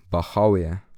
Bahav je.